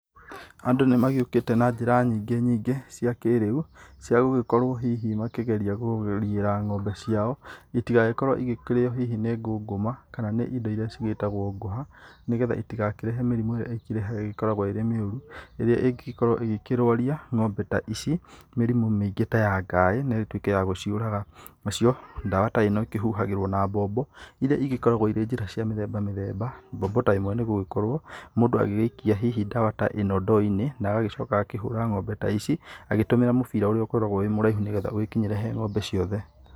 Andũ nĩ magĩũkĩte na njĩra nyingĩ nyingĩ cia kĩrĩu cia gũgĩkorwo hihi makĩgeria kũriĩra ng'ombe ciao itigagĩkorwo ikĩrĩo hihi nĩ ngũkũma kana hihi indo iria igĩtagwo ngũha nĩ getha itigakĩrehe mĩrimũ ĩrĩa ikĩreha ĩkoragwo ĩ mĩũru, rĩrĩa ĩngĩgĩkorwo ĩkĩrwaria ng'ombe ta ici mĩrimũ mĩingĩ ta ya ngaĩ na ĩtuĩke ya gũciũraga. Nacio ndawa ta ĩno ikĩhuhagĩrwo na mbombo iria igĩkoragwo irĩ njĩra cia mĩthemba mĩthemba. Mbombo ta ĩmwe nĩ ĩgũgĩkorwo mũndũ agĩgĩikia hihi ndawa ta ĩno ndoo-inĩ na agacoka agakĩhũra ng'ombe ta ici agĩtumĩra mũbira ũrĩa ũgĩkoragwo wĩ mũraihu nĩ getha ũgĩkinyĩre he ng'ombe ciothe.